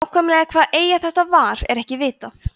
nákvæmlega hvaða eyja þetta var er ekki vitað